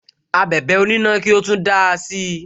Abẹ̀bẹ̀ onina ki o tun dáa si